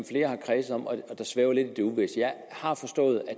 flere har kredset om og som svæver lidt i det uvisse jeg har forstået at